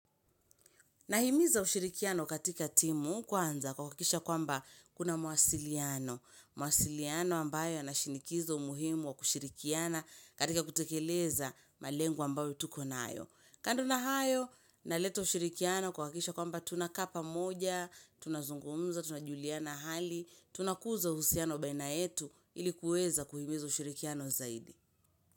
Nahimiza ushirikiano katika timu kwanza kwa kahakikisha kwamba kuna mawasiliano. Mawasiliano ambayo yanashinikiza umuhimu wa kushirikiana katika kutekeleza malengo ambayo tuko na nayo. Kando na hayo, naleta ushirikiano kwa kuhakikisha kwamba tunakaq pamoja, tunazungumza, tunajuliana hali, tunakuza uhusiano baina yetu ili kuweza kuhimiza ushirikiano zaidi.